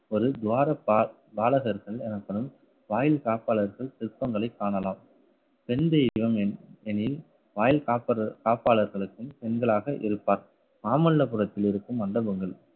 ஒரு துவாரப்பா~ பாலகர்கள் எனப்படும் வாயிற்காப்பாளர்கள் சிற்பங்களைக் காணலாம். பெண் தெய்வம் என்~ எனில் வாயில் காப்பத்த~ காப்பாளர்களுக்கும் பெண்களாக இருப்பார். மாமல்லபுரத்தில் இருக்கும் மண்டபங்கள்